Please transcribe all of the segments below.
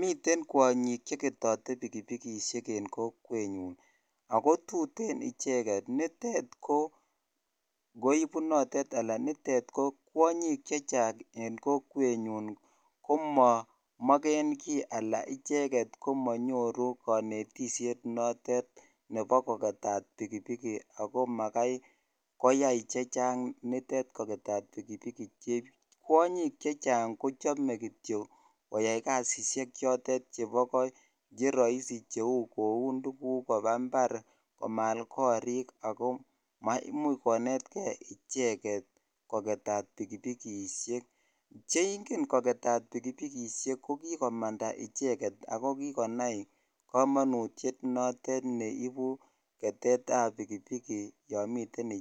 Miteen kwanyiik cheketatii pikipikisheek netai kokwanyiik chechaang komanyoruu kanetissheet ap ketet ap pikipiki imuch konmetkeii icheget koketat pikipikisheeek ketet ap pikipikisheek ko pa kamanuut missing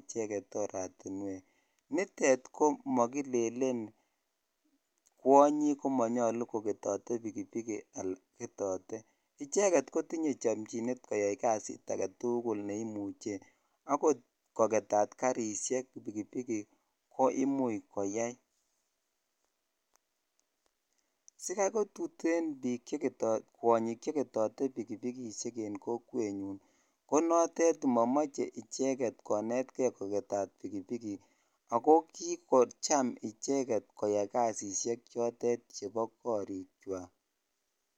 icheget koketee karisheeek komuchii koaiii tuteeen kwanyiik cheketeee pikipikisheek ak kikoyaan icheket koyaii kasisheek chepo kariik kwaak